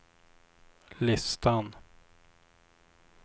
listan